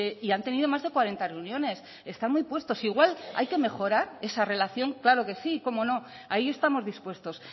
y han tenido más de cuarenta reuniones están muy puestos igual hay que mejorar esa relación claro que sí como no ahí estamos dispuestos